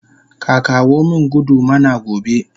Kaka womin gudu mana gobe